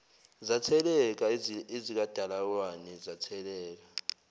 zatheleka ezikadalawane zatheleka